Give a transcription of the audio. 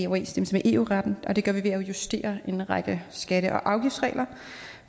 med eu retten og det gør vi ved at justere en række skatte og afgiftsregler